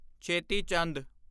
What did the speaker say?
ਛੇਤੀ ਚੰਦ